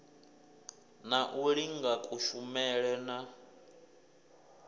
na u linga kushumele na